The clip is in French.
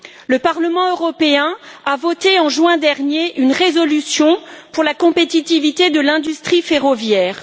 Le Parlement européen a voté, en juin dernier, une résolution pour la compétitivité de l'industrie ferroviaire.